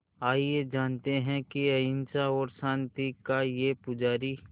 आइए जानते हैं कि अहिंसा और शांति का ये पुजारी